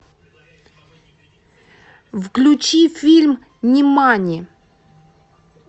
включи фильм нимани